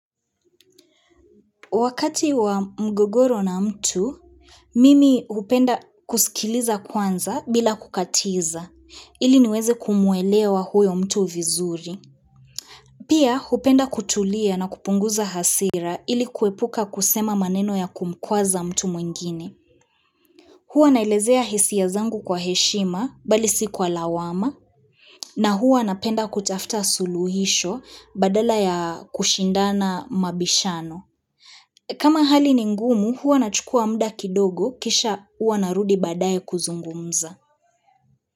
Wakati wa mgogoro na mtu, mimi hupenda kusikiliza kwanza bila kukatiza, ili niweze kumwelewa huyo mtu vizuri. Pia hupenda kutulia na kupunguza hasira ili kuepuka kusema maneno ya kumkwaza mtu mwingine. Hua naelezea hisia zangu kwa heshima bali si kwa lawama, na huwa napenda kutafuta suluhisho badala ya kushindana mabishano. Kama hali ni ngumu huwa na chukua muda kidogo kisha huwa narudi badaye kuzungumza.